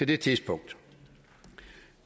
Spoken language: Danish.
det tidspunkt